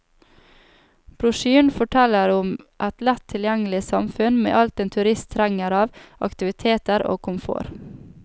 Brosjyren forteller om et lett tilgjengelig samfunn med alt en turist trenger av aktiviteter og komfort.